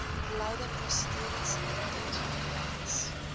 beleide prosedures diensvoorwaardes